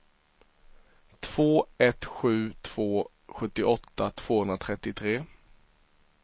två ett sju två sjuttioåtta tvåhundratrettiotre